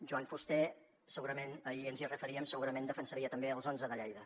joan fuster ahir ens hi referíem segurament defensaria també els onze de lleida